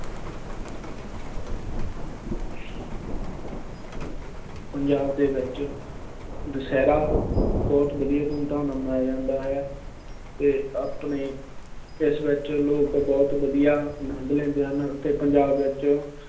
ਪੰਜਾਬ ਦੇ ਵਿੱਚ ਦੁਸਹਿਰਾ ਬਹੁਤ ਵਧੀਆ ਧੂਮ ਧਾਮ ਨਾਲ ਮਨਾਇਆ ਜਾਂਦਾ ਹੈ ਅਤੇ ਆਪਣੇ ਇਸ ਵਿੱਚ ਲੋਕ ਬਹੁਤ ਵਧੀਆ ਆਨੰਦ ਲੈਂਦੇ ਹਨ ਅਤੇ ਪੰਜਾਬ ਵਿੱਚ